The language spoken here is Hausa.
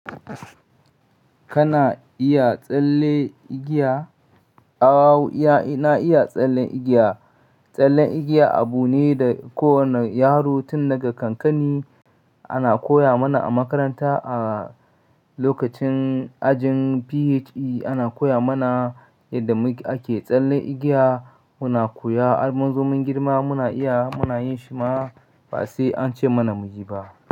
Kana iya tsalle igiya? (Mumble), na iya tsallen igiya. Tsallen igiya abu ne da kowane yaro tun daga kankani ana koya mana a makaranta. A lokacin ajin PHE ana koya mana yadda muk ake tsallen igiya. Muna koya har mun zo mun girma muna iya, muna yin shi ma ba sai an ce mana mu yi ba.